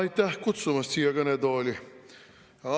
Aitäh kutsumast siia kõnetooli!